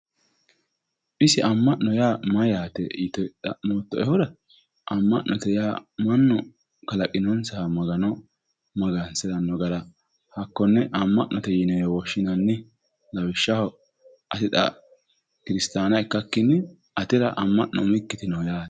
Isi ama'no yaa mayate yite xa'mottoehura ama'note yaa mannu kalaqinonsaha Magano magansirano hakkone ama'note yinewe woshshinanni lawishshaho ani xa kirisittanna ikkakkinni atera umikki ama'no noohe yaate.